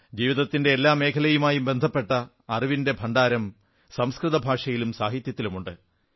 ജീവിതത്തിന്റെ എല്ലാ മേഖലയുമായും ബന്ധപ്പെട്ട അറിവിന്റെ ഭണ്ഡാരം സംസ്കൃത ഭാഷയിലും സാഹിത്യത്തിലുമുണ്ട്